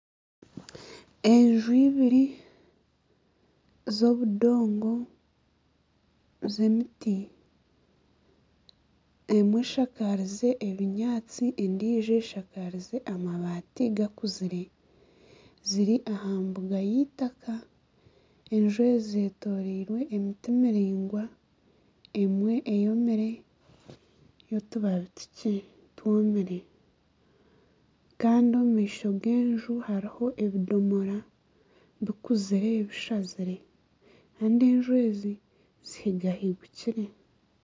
Enju ibiri z'obundongo z'emiti, emwe eshakarize ebunyaatsi endiijo eshakarize amabati gaakuzire ziri aha mbuga y'eitaka enju ezi zeetoriirwe emiti miraingwa emwe eyomire y'otubabi tukye twomire kandi omu maisho g'enju hariho ebindomora bikuzire bishazire kandi enju ezi zihigahigukire